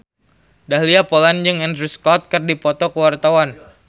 Dahlia Poland jeung Andrew Scott keur dipoto ku wartawan